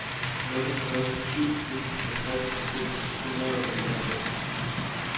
nul nul syv en halvtreds seks hundrede og nioghalvfems